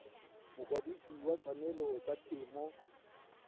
mokwadise wa ditshwanelo tsa temo